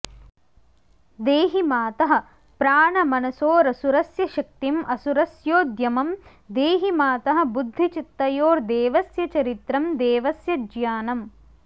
देहि मातः प्राणमनसोरसुरस्य शक्तिं असुरस्योद्यमं देहि मातः बुद्धिचित्तयोर्देवस्य चरित्रं देवस्य ज्ञानम्